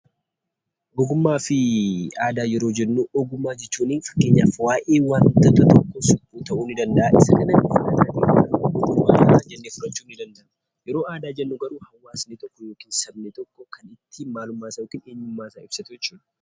Ogummaa fi Aadaa yeroo jennu, ogummaa jechuun fakkeenyaaf wanta tokko suphuu ta'uu ni danda’a. Yeroo aadaa jennu garuu hawaasni tokkoo yookiin sabni tokko kan ittiin eenyummaa isaa ibsatu jechuudha.